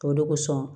O de kosɔn